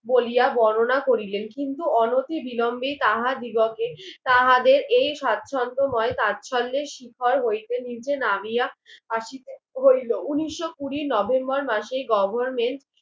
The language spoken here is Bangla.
বলিয়া বর্ণনা করলেন কিন্তু অনতি বিলম্বে তাহার দিগতে তাহাদের এই সাছন্দময় সাছন্দের শিখর হইতে নিচে নামিয়া আসিতে হইলো উনিশ কুড়ি নভেম্বর মাসে গভার্মেন্ট